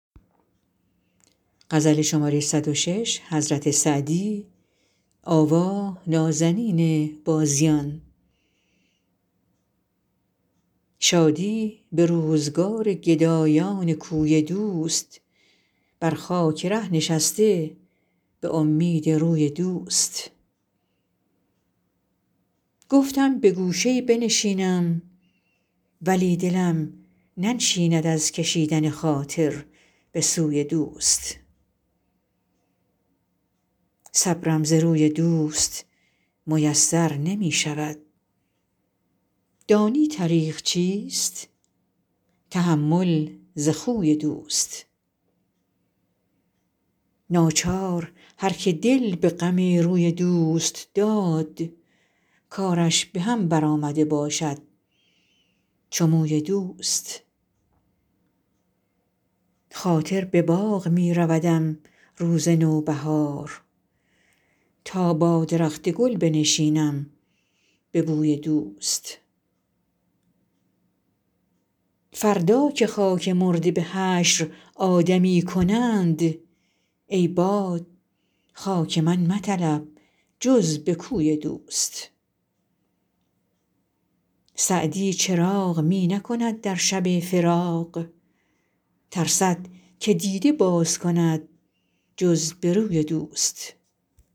شادی به روزگار گدایان کوی دوست بر خاک ره نشسته به امید روی دوست گفتم به گوشه ای بنشینم ولی دلم ننشیند از کشیدن خاطر به سوی دوست صبرم ز روی دوست میسر نمی شود دانی طریق چیست تحمل ز خوی دوست ناچار هر که دل به غم روی دوست داد کارش به هم برآمده باشد چو موی دوست خاطر به باغ می رودم روز نوبهار تا با درخت گل بنشینم به بوی دوست فردا که خاک مرده به حشر آدمی کنند ای باد خاک من مطلب جز به کوی دوست سعدی چراغ می نکند در شب فراق ترسد که دیده باز کند جز به روی دوست